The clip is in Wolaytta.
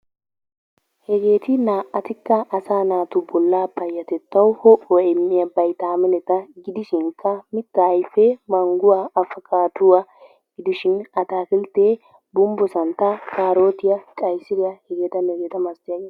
Hegeeti naa'atikka asaa naatu bollaa payyatettawu ho'uwa immiya baytaamineta gidishinkka mittaa ayfee mangguwa, afkkaadduwa gidishin ataakilttee gumbbo santtaa, kaarotiya, qaysiriya hegeetanne hegeeta malatiyageeta .